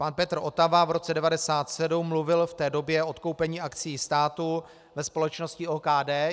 Pan Petr Otava v roce 1997 mluvil v té době o odkoupení akcií státu ve společnosti OKD.